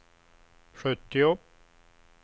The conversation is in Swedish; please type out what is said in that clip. sjuttio